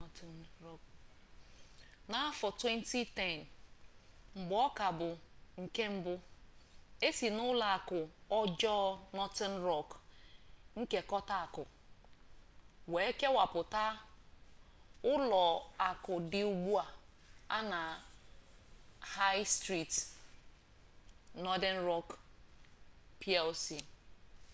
n’afọ 2010 mgbe ọ ka bụ nke mba e si na ụlọ akụ ọjọọ northern rock nkekọta akụ wee kewapụ ụlọ akụ dị ugbu a na high street northern rock plc